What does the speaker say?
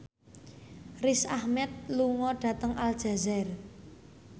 Riz Ahmed lunga dhateng Aljazair